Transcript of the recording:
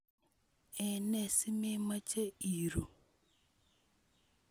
Ene simemoche iru?